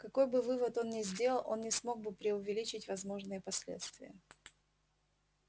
какой бы вывод он ни сделал он не смог бы преувеличить возможные последствия